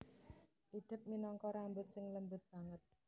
Idep minangka rambut sing lembut banget